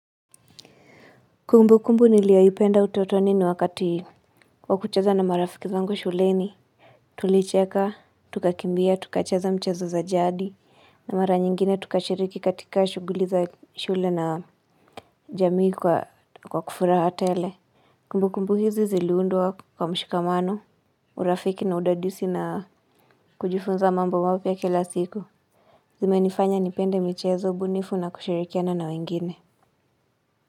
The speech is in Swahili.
Kumbukumbu niliayoipenda utotoni ni wakati wa kucheza na marafiki zangu shuleni. Tulicheka, tukakimbia, tukacheza michezo za jadi. Na mara nyingine tukashiriki katika shughuli za shule na jamii kwa furaha tele. Kumbukumbu hizi ziliundwa kwa mshikamano, urafiki na udadisi na kujifunza mambo mapya kila siku. Zimenifanya nipende michezo bunifu na kushirikiana na wengine.